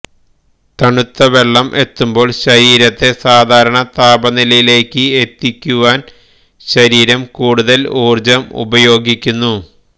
തണുത്ത വെള്ളം എത്തുമ്പോള് ശരീരത്തെ സാധാരണ താപനിലയിലേയ്ക്ക് എത്തിയ്ക്കുവാന് ശരീരം കൂടുതല് ഊര്ജം ഉപയോഗിയ്ക്കുന്നു